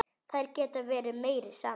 Þær geta verið meira saman.